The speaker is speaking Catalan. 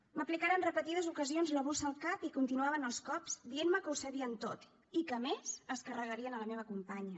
m’aplicaren en repetides ocasions la bossa al cap i continuaven els cops dient me que ho sabien tot i que a més es carregarien la meva companya